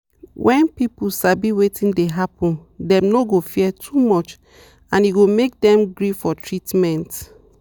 when people sabi wetin dey happen dem no go fear too much and e go make dem gree for treatment.